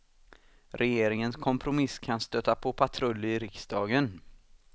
Regeringens kompromiss kan stöta på patrull i riksdagen.